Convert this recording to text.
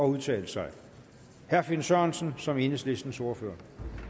udtale sig herre finn sørensen som enhedslistens ordfører